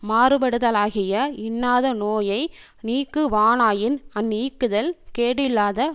மாறுபடுதலாகிய இன்னாத நோயை நீக்குவானாயின் அந்நீக்குதல் கேடில்லாத